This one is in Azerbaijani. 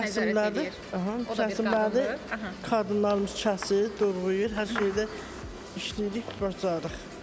Kəsirlər də, qadınlarımız kəsir, doğrayır, hər şeyində işləyirik, bacarıq.